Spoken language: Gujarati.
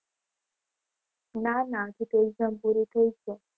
ના ના. હજુ તો exam પૂરી થઈ છે.